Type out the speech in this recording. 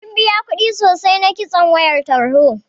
Mun biya kuɗi sosai na kitson wayar tarho.